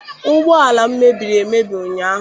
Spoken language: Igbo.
Ụgbọala m mebiri emebi ụnyaahụ.